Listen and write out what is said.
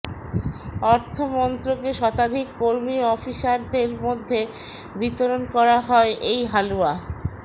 অর্থমন্ত্রকের শতাধিক কর্মী ও অফিসারদের মধ্যে বিতরণ করা হয় এই হালুয়া